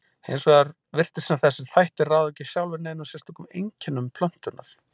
Hins vegar virtist sem þessir þættir ráði ekki sjálfir neinum sérstökum einkennum plöntunnar.